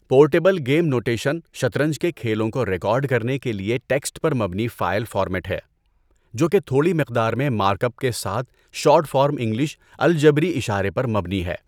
Port able game notation شطرنج کے کھیلوں کو ریکارڈ کرنے کے لیے ٹیکسٹ پر مبنی فائل فارمیٹ ہے، جو کہ تھوڑی مقدار میں مارک اپ کے ساتھ شارٹ فارم انگلش الجبری اشارے پر مبنی ہے۔